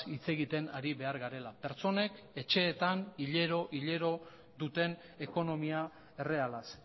hitz egiten ari behar garela pertsonek etxeetan hilero hilero duten ekonomia errealaz